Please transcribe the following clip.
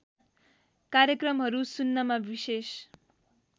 कार्यक्रमहरू सुन्नमा विशेष